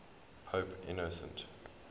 pope innocent